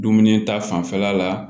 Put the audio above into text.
Dumuni ta fanfɛla la